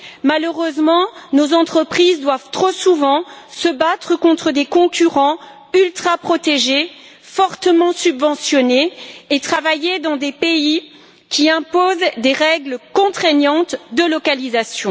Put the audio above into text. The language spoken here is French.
Malheureusement, nos entreprises doivent trop souvent se battre contre des concurrents ultraprotégés, fortement subventionnés, et travailler dans des pays qui imposent des règles contraignantes de localisation.